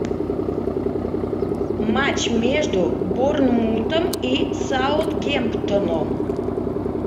матч между борнмутом и саутгемптоном